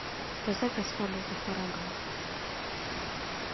поставь асхаба вахарагова